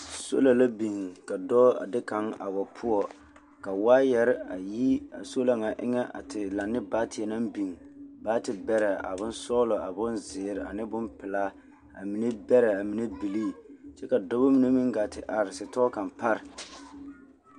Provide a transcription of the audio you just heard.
Sola la a biŋ ka dɔɔ a de kaŋ a wa poɔ ka waayɛre a yi a sola ŋa eŋa a te laŋ ne baateɛ naŋ biŋ baatebɛrɛ a bonsɔɔlɔ a bon ziiri ane bompelaa a mine bɛrɛ a mine bilii kyɛ ka dɔbɔ mine meŋ ɡaa te are setɔɔ kaŋa pare.